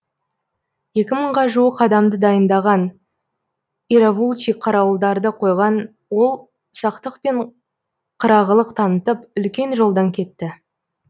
екі мыңға жуық адамды дайындаған иравулчи қарауылдарды қойған ол сақтық пен қырағылық танытып үлкен жолдан кетті